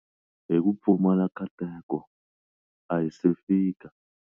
Hi ku pfumala nkateko, a hi se fika.